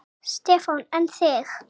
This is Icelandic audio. Stefán: En þig?